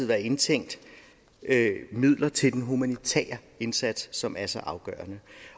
være indtænkt midler til den humanitære indsats som er så afgørende